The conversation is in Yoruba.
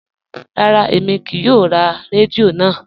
Rárá, èmi kíì yóò rá rẹ́díò náà.